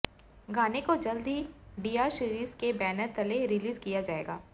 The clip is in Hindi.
गाने को जल्द ही डीआर सीरीज के बैनर तले रिलीज किया जाएगा